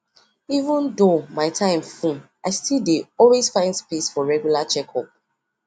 even though my time full i still dey dey always find space for regular checkup